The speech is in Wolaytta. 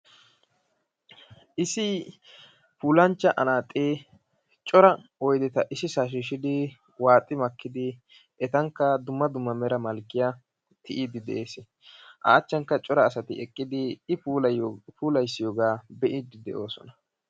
Issi puulanchcha anaaxee cora oyideta issisaa shiishshidi waaxi makkidi etankka dumma dumma mera malkkiya tiyiiddi dees. A achchankka cora asati shiiqidi i puulayiyo puulayissiyoogaa be'iiddi doosona.